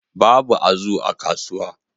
Babu azu a kasuwa